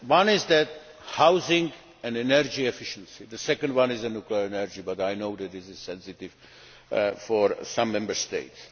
One is housing and energy efficiency. The second one is nuclear energy, but I know this is a sensitive issue for some Member States.